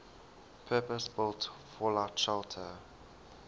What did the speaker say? purpose built fallout shelter